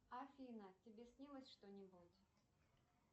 афина тебе снилось что нибудь